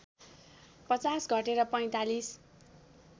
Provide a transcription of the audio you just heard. पचास घटेर ४५